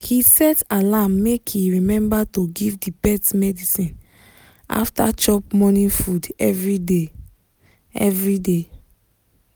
he set alarm make e remember to give the pet medicine after chop morning food every day. every day.